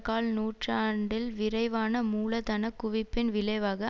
கால் நூற்றாண்டில் விரைவான மூலதனக் குவிப்பின் விளைவாக